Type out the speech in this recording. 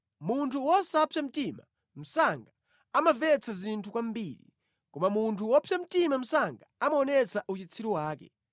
Munthu wosapsa mtima msanga amamvetsa zinthu kwambiri, koma munthu wopsa mtima msanga amaonetsa uchitsiru wake.